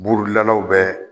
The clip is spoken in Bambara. Buurudilalaw bɛ